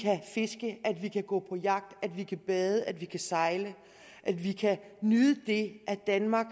fiske at vi kan gå på jagt at vi kan bade at vi kan sejle at vi kan nyde det at danmark